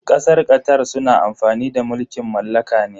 Kasar Qatar suna amfani da mulkin mallaka ne.